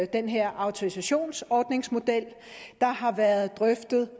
den her autorisationsordningsmodel der har været drøftet